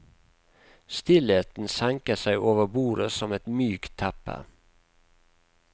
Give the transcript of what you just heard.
Stillheten senker seg over bordet som et mykt teppe.